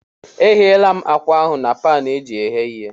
Egheela m ákwà ahụ na paanụ eji eghe ihe.